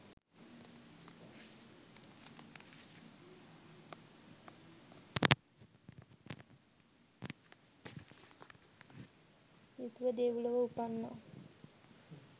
යුතුව දෙව්ලොව උපන්නා.